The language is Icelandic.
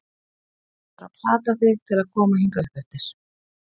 Ég þurfti bara að plata þig til að koma hingað uppeftir.